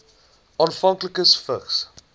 afhanklikes vigs